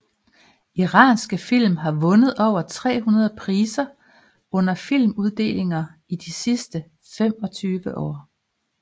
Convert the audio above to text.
Iranske film har vundet over 300 priser under filmuddelinger i de sidste femogtyve år